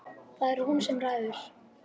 Það er hún sem ræður.